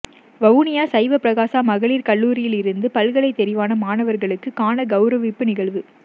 வவுனியா சைவப்பிரகாசா மகளிர் கல்லூரிலிருந்து பல்கலை தெரிவான மாணவர்களுக்கான கௌரவிப்பு நிகழ்வு